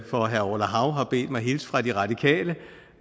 for herre orla hav har bedt mig hilse fra de radikale